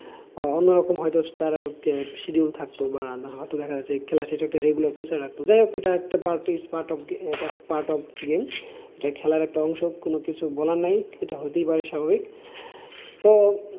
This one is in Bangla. অন্য রকম তার একটা schedule থাকতো বা হয়ত দেখা যাচ্ছে খেলার শেষে একটা regular pressure রাখত। যাই হোক এটা একটা part of part of game এটা খেলার একটা অংশ কোন কিছু বলার নাই এটা হতেই পারে স্বাভাবিক তো,